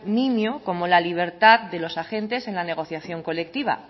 niño como la libertad de los agentes en la negociación colectiva